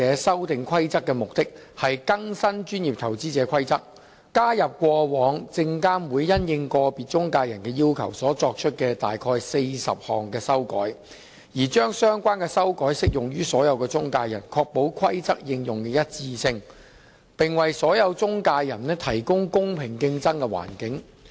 《修訂規則》的目的是更新《證券及期貨規則》，加入過往證券及期貨事務監察委員會因應個別中介人的要求所作出的約40項修改，將相關修改適用於所有中介人，確保《規則》應用的一致性，並為所有中介人提供公平競爭的環境。